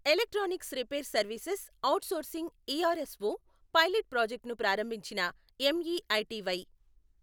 electronics repair services outsourcing ERSO pilot project ను ప్రారంభించిన MeitY